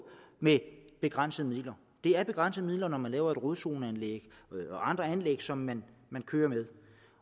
med begrænsede midler det er begrænsede midler når man laver rodzoneanlæg og andre anlæg som man kører med